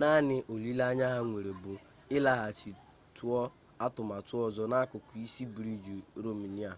naanị olileanya ha nwere bụ ịlaghachi tụọ atụmatụ ọzọ n'akụkụ isi briij romenia